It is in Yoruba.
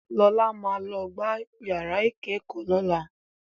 Lọlá ló máa gbá yàrá ìkẹ́kọ̀ọ́ lọ́la.